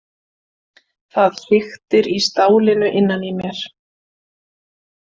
Það hriktir í stálinu innan í mér.